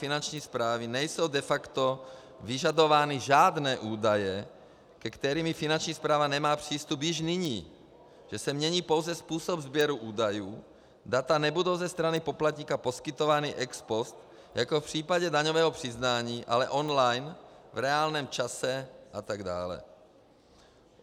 Finanční správy nejsou de facto vyžadovány žádné údaje, ke kterým Finanční správa nemá přístup již nyní, že se mění pouze způsob sběru údajů, data nebudou ze strany poplatníka poskytována ex post jako v případě daňového přiznání, ale online v reálném čase, a tak dále.